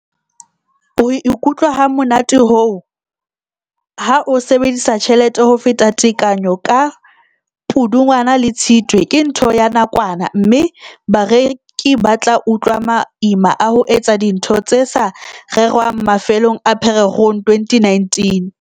"Ho ikutlwa hamonate hoo, ha o sebedisa tjhelete ho feta tekanyo ka Pudungwana le ka Tshitwe ke ntho ya nakwana, mme bareki ba tla utlwa maima a ho etsa dintho tse sa rerwang mafelong a Pherekgong 2019."